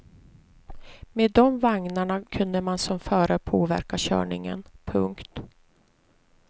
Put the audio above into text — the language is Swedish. Med dom vagnarna kunde man som förare påverka körningen. punkt